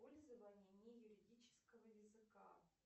пользование неюридического языка